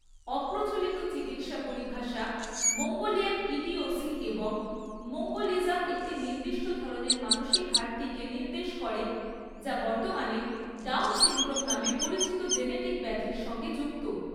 অপ্রচলিত চিকিৎসা পরিভাষা মঙ্গোলিয়ান ইডিওসি এবং মঙ্গোলিজম একটি নির্দিষ্ট ধরণের মানসিক ঘাটতিকে নির্দেশ করে, যা বর্তমানে ডাউন সিনড্রোম নামে পরিচিত জেনেটিক ব্যাধির সঙ্গে যুক্ত।